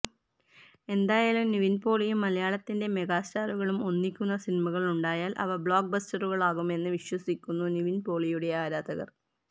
എന്തായാലും നിവിന് പോളിയും മലയാളത്തിന്റെ മെഗാസ്റ്റാറുകളും ഒന്നിക്കുന്ന സിനിമകളുണ്ടായാല് അവ ബ്ലോക്ക് ബസ്റ്ററുകളാകുമെന്ന് വിശ്വസിക്കുന്നു നിവിന് പോളിയുടെ ആരാധകര്